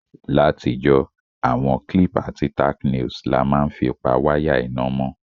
Látijọ́, àwon clip àti tacknails la ma n fi pa wire iná mó